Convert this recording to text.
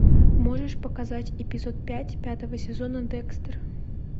можешь показать эпизод пять пятого сезона декстер